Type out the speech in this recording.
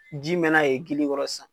Ji mɛna ye gili kɔrɔ .